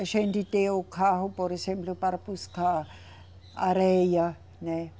A gente deu o carro, por exemplo, para buscar areia, né?